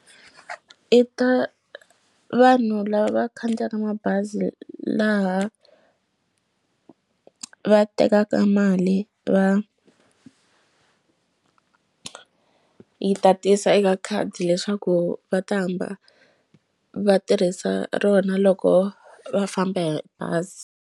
Eka vanhu lava va khandziyaka mabazi laha va tekaka mali va yi tatisa eka khadi leswaku va ta hamba va tirhisa rona loko va famba hi bazi.